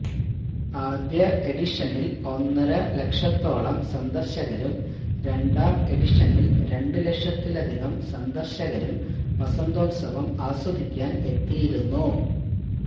ആദ്യ എഡിഷനിൽ ഒന്നര ലക്ഷത്തോളം സന്ദർശകരും രണ്ടാം എഡിഷനിൽ രണ്ട് ലക്ഷത്തിലധികം സന്ദർശകരും വസന്തോത്സവം ആസ്വദിക്കാൻ എത്തിയിരുന്നു